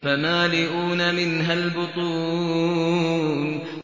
فَمَالِئُونَ مِنْهَا الْبُطُونَ